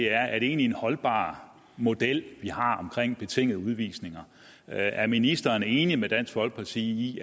er er det egentlig en holdbar model vi har omkring betingede udvisninger er er ministeren enig med dansk folkeparti i